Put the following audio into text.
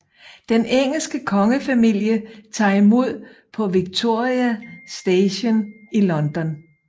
Den engelske kongefamilie tager imod på Victoria Station i London